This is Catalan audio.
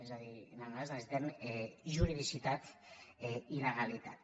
és a dir nosaltres necessitem juridici·tat i legalitat